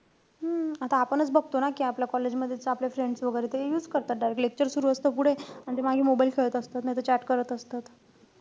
हम्म आता आपणचं बघतो ना, कि आपल्या college मधेच आपले friends वैगेरे ते use करतात. direct Lecture सुरु असतं पुढे, अन ते मागे mobile खेळत असतात. नाई त chat करत असतात.